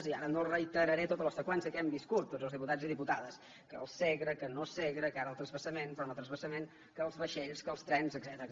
i ara no reiteraré tota la seqüència que hem viscut tots els diputats i diputades que el segre que no segre que ara el transvasament però no transvasament que els vaixells que els trens etcètera